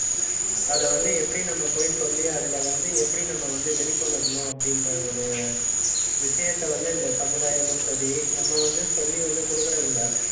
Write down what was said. அதை வந்து எப்படி நம்ம போய் சொல்லி அதுல வந்து எப்படி நம்ம வந்து வெளிக் கொண்டு வரணும் அப்படின்ற ஒரு விஷயத்தை வந்து இந்த சமுதாயமும் சரி நம்ம வந்து சொல்லி வந்து, கொடுக்கிறதில்லை